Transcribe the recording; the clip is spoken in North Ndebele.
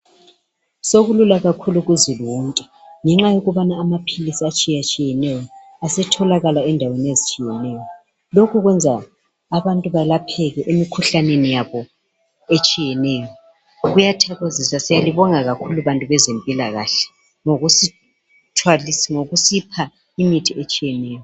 Sokulula kakhulu kuzulu wonke ngenxa yokubana amaphilisi atshiyatshiyeneyo asetholakala endaweni ezitshiyeneyo lokhu kwenza abantu balapheke imikhuhlane etshiyeneyo kuyathokozisa siyalibonga kakhulu bantu bezempilakahle ngokusipha imithi etshiyeneyo.